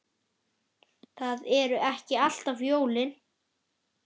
Það eru ekki alltaf jólin.